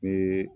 Ni